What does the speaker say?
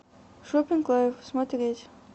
шоппинг лайф смотреть